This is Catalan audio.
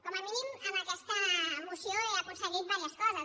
com a mínim amb aquesta moció he aconseguit diverses coses